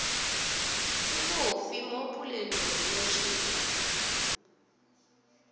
ke bofe mo polelonošing ya